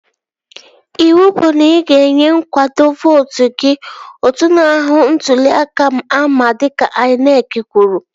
Ịwụ bụ na ị ga-enwe kaadị vootu gị! Otu na-ahụ maka ntụli aka ama dịka INEC kwuru